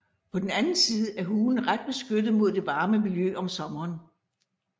På den anden side er hulen ret beskyttet mod det varme miljø om sommeren